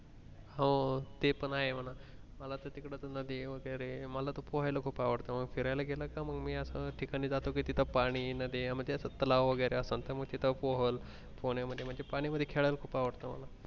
हो ते पण आहे मना मला तिकडे नदी वैगेरे मला त पोहायला खूप आवडत म फिरायला गेल का मी अश्या ठिकाणी जातो कि तिथे पाणी नदया म असं तलाव तलाव वैगरे असेल त तिथे पोहल पोहणया मध्ये म्हणजे पाण्या मध्ये खेळायला खूप आवडतं मला.